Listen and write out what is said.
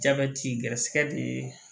Jabɛti garisigɛ de ye